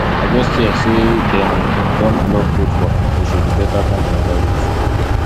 i just hear say dem um don block road for um oshodi better find another route